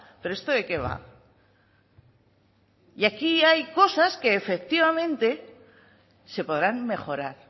pero esto de que va y aquí hay cosas que efectivamente se podrán mejorar